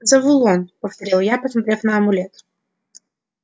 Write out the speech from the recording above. завулон повторил я посмотрев на амулет